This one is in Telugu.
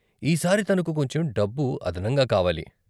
ఈ సారి తనకు కొంచెం డబ్బు అదనంగా కావాలి.